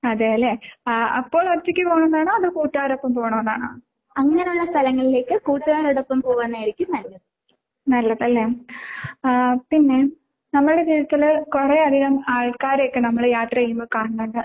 അതേല്ലേ? ആഹ് അപ്പോ ഒറ്റക്ക് പോണതാണോ അതോ കൂട്ടുകാരെ ഒപ്പം പോണതാണോ? നല്ലതല്ലേ? ആഹ് പിന്നേ നമ്മൾടെ ജീവിതത്തില് കുറെയധികം ആൾക്കാരെ ഒക്കെ നമ്മള് യാത്ര ചെയ്യുമ്പോ കാണുന്നുണ്ട്.